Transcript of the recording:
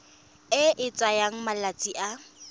e e tsayang malatsi a